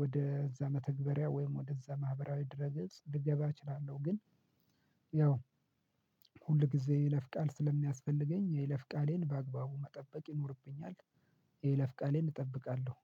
ወደ እዛ መተግበሪያ ወይም ወደ እዛ ማህበራዊ ድረ ገጽ ልገባ እችላለሁ። ግን ያው ሁል ጊዜ የለፍ ቃል ስለሚያስፈልገኝ የለፍ ቃሌን በአግባቡ መጠበቅ ይኖርብኛል። የለፍ ቃሌን እጠብቃለሁ